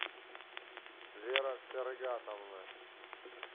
вера фергатовна